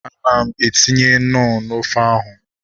Ana m etinye knọ n'ofe ahu